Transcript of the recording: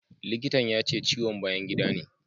Likitan ya ce ciwon bayan gida ne.